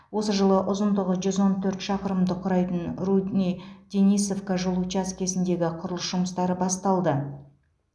осы жылы ұзындығы жүз он төрт шақырымды құрайтын рудный денисовка жол учаскесіндегі құрылыс жұмыстары басталды